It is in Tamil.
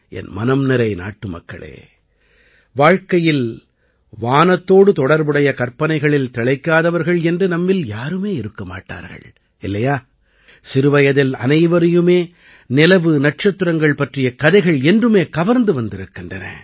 என் மனம் நிறை நாட்டுமக்களே வாழ்க்கையில் வானத்தோடு தொடர்புடைய கற்பனைகளில் திளைக்காதவர்கள் என்று நம்மில் யாருமே இருக்க மாட்டார்கள் இல்லையா சிறுவயதில் அனைவரையுமே நிலவுநட்சத்திரங்கள் பற்றிய கதைகள் என்றுமே கவர்ந்து வந்திருக்கின்றன